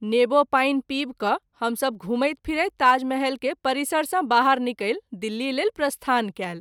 नीबू पानि पीब क’ हम सभ घुमैत फिरैत ताजमहल के परिसर सँ बाहर निकैल दिल्ली लेल प्रस्थान कएल।